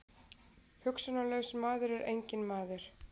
Hugsunarlaus maður er enginn maður.